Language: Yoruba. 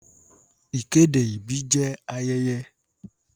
Ìkéde ìbí jẹ́ ayẹyẹ.